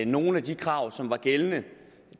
nogle af de krav som var gældende